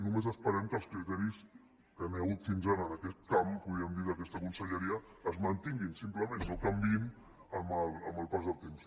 només esperem que els criteris que hi ha hagut fins ara en aquest camp podríem dir d’aquesta conselleria es mantinguin simplement no canviïn amb el pas del temps